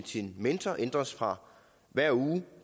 sin mentor ændres fra hver uge